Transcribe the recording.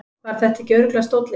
Var þetta ekki örugglega stóllinn?